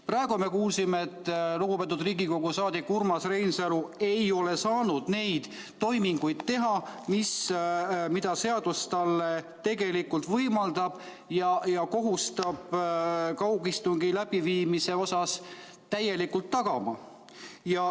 " Praegu me kuulsime, et lugupeetud Riigikogu saadik Urmas Reinsalu ei ole saanud neid toiminguid teha, mida seadus talle tegelikult võimaldab ja kohustab kaugistungi läbiviimisel täielikult tagama.